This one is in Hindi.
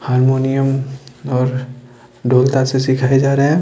हारमोनियम और ढोल तासे से सिखाए जा रहे हैं।